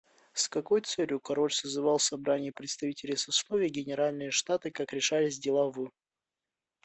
с какой целью король созывал собрание представителей сословий генеральные штаты как решались дела в